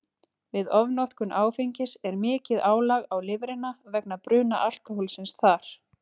Við ofnotkun áfengis er mikið álag á lifrina vegna bruna alkóhólsins þar.